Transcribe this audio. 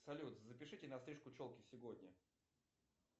салют запишите на стрижку челки сегодня